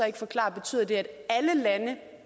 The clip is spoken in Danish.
ikke forklare betyder det at alle lande